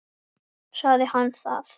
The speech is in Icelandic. Sagði hann það?